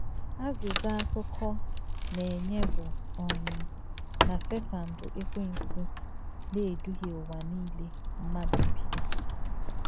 Àzízà àkụ̀kọ̀ nà-ènyé bù um nà Sètàn bù Èkwènsù “nà-èdùhìē ùwà nílē m̀madù bì.”